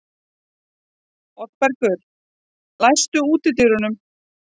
Oddbergur, læstu útidyrunum.